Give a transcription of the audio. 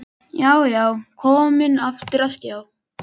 Já, já, komin aftur á stjá!